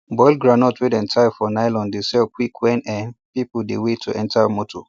boiled groundnut wey dem tie for nylon dey sell quick when um people dey wait to enter motor